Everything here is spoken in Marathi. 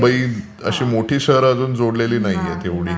फक्त मुंबई अशी मोठी शहरं त्यांनी अजून जोडलेली नाहीयेत तेवढी.